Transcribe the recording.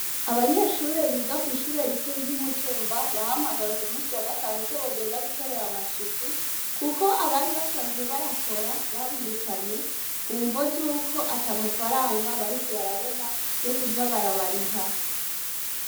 Abanyeshuri biga kw'ishure rikuru ry'imutumba bahamagawe ku musi wa gatanu ko bogenda gukorera amasuku, kuko abari basanzwe bayakora babirukanye ku mvo z' uko ata amafaranga bariko barabona yo kuja barabariha.